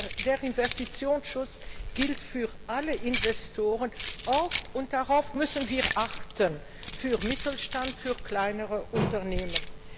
Der Investitionsschutz gilt für alle Investoren, auch und darauf müssen wir achten für den Mittelstand, für kleinere Unternehmen.